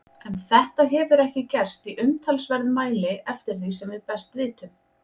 En þetta hefur ekki gerst í umtalsverðum mæli eftir því sem við best vitum.